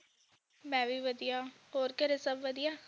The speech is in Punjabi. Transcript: ਮੈਂ ਵੀ ਵਧੀਆ ਹੋਰ ਘਰੇ ਸਭ ਵਧੀਆ?